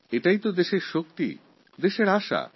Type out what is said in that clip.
এটাই দেশের শক্তি এটাই দেশের আশা